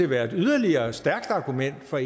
være et yderligere stærkt argument for